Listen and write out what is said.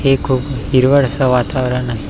हे खूप हिरवळ अस वातावरण आहे.